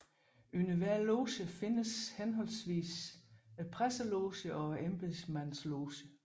Under hver loge findes henholdvis presselogen og embedsmandslogen